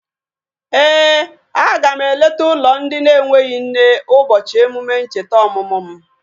Éè, a ga m eleta ụlọ ndị na-enweghị nne ụbọchị emume ncheta ọmụmụ m